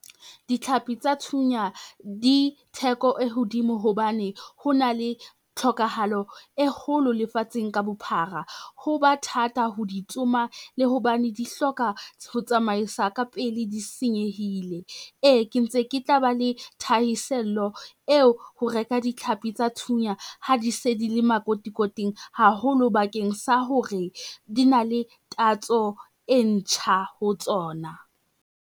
Ditlhapi tsa thunya di theko e hodimo hobane, ho na le tlhokahalo e kgolo lefatsheng ka bophara. Ho ba thata ho di tsoma, le hobane di hloka ho tsamaisa ka pele di senyehile. E, ke ntse ke tla ba le thahiselo eo ho reka ditlhapi tsa thunya ha di se di le makotikoting haholo bakeng sa hore di na le tatso e ntjha ho tsona.